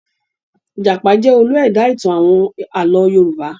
Ìjàpá jẹ́ olú ẹ̀dá-ìtàn àwọn àlọ́ Yorùbá.